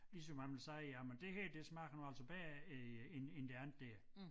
Ligesom han ville sige jamen det her det smager nu altså bedre øh end end det andet dér